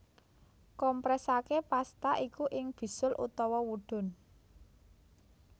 Kompresaké pasta iku ing bisul utawa wudun